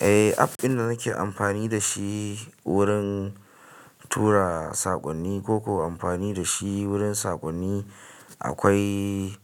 Eh app inda nake amfani da shi wurin tura saƙonni ko ko amfani da shi wurin saƙonni akwai